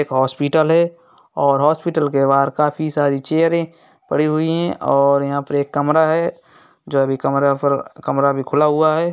एक हॉस्पिटल है। और हॉस्पिटल के बाहर काफी सारी चेयरें पड़ी हुईं हैं और यहाँ पर कमरा है। जो अभी कमरा फ र कमरा अभी खुला हुआ है।